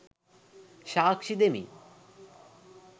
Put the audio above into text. සාක්ෂි දෙමින්